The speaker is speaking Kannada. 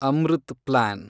ಅಮೃತ್ ಪ್ಲಾನ್